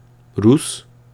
Rus?